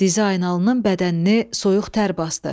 Dizaynalının bədənini soyuq tər basdı.